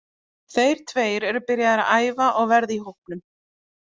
Þeir tveir eru byrjaðir að æfa og verða í hópnum.